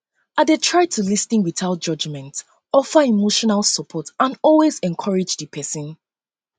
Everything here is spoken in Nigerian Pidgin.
i dey try to lis ten without judgment offer emotional support and always encourage di pesin